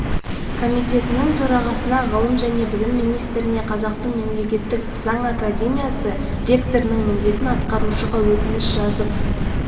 комитетінің төрағасына ғылым және білім министріне қазақтың мемлекеттік заң академиясы ректорының міндетін атқарушыға өтініш жазып